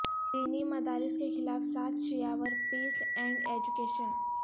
دینی مدارس کے خلاف سازشیںاور پیس اینڈ ایجوکیشن